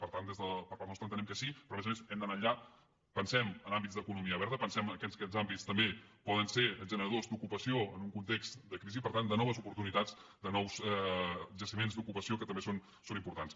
per tant per part nostra entenem que sí però a més a més hem d’anar enllà pensem en àmbits d’economia verda pensem que aquests àmbits també poden ser generadors d’ocupació en un context de crisi i per tant de noves oportunitats de nous jaciments d’ocupació que també són importants